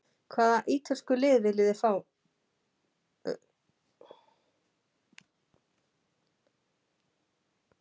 Hvaða ítölsku lið vilja fá þig?